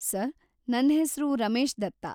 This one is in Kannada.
ಸರ್‌, ನನ್‌ ಹೆಸ್ರು ರಮೇಶ್‌ ದತ್ತ.